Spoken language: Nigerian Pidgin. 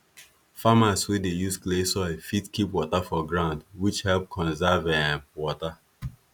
farmers wey dey use clay soil fit keep water for ground which help conserve um water